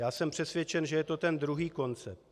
Já jsem přesvědčen, že je to ten druhý koncept.